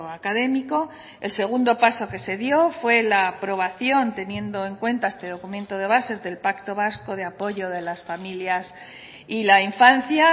académico el segundo paso que se dio fue la aprobación teniendo en cuenta este documento de bases del pacto vasco de apoyo de las familias y la infancia